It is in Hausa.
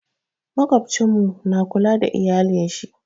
Maƙwabcin mu na kula da iyalin shi.